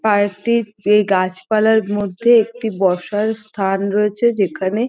park -টির এই গাছপালার মধ্যে একটি বসার স্থান রয়েছে যেখানে--